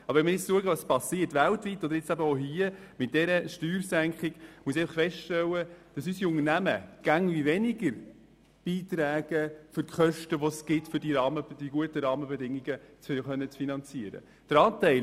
Aber wenn wir schauen, was weltweit und nun eben auch hier mit dieser Steuersenkung geschieht, dann muss ich feststellen, dass unsere Unternehmen immer weniger an unsere Kosten für gute Rahmenbedingungen beitragen.